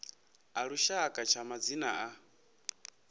a lushaka tsha madzina a